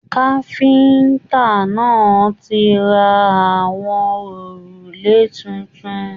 Káfíntà náà tí rà àwọn òrùlé títún.